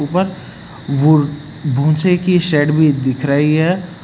ऊपर वुर भूसे की शेड भी दिख रही है।